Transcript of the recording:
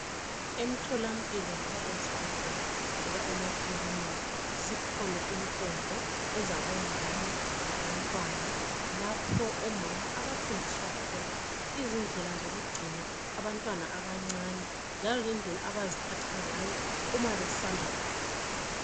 Emtholampilo loba ezibhendlela loba emakilinika zikhona inkonzo ezabomama labantwana lapho omama abafundiswa khona izindlela zokugcina abantwana abancane njalo lendlela abaziphatha ngayo uma besanda kubeletha